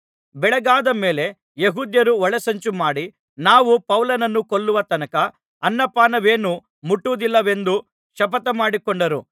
ಬೆಳಗಾದ ಮೇಲೆ ಯೆಹೂದ್ಯರು ಒಳಸಂಚು ಮಾಡಿ ನಾವು ಪೌಲನನ್ನು ಕೊಲ್ಲುವ ತನಕ ಅನ್ನಪಾನವೇನೂ ಮುಟ್ಟುವುದಿಲ್ಲವೆಂದು ಶಪಥಮಾಡಿಕೊಂಡರು